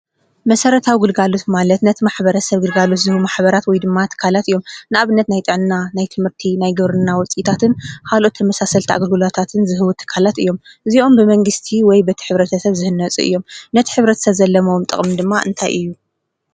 መሰራታዊ ግልጋሎት ማለት ነቲ ማሕበረሰብ ግልጋሎት ዝህቡ ማሕበራት ወይ ድማ ትካለት እዮም ። ንኣብነት ናይ ጥዕና፣ ናይ ትምህርቲ፣ ናይ ግብርና ውፅኢታትን ካልኦትን ተመሳሰልቲ ኣገልግሎታትን ዝህቡ ትካለትን እዮም። እዚኦም ብመንግስቲ ወይ በቲ ሕብረተሰብ ዝህነፁ እዮም። ነቲ ሕብረተሰብ ዘለዎም ጥቅሚ ድማ እንታ እዩ?